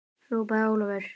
hrópaði Ólafur.